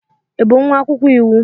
Ị bụ nwa akwụkwọ iwu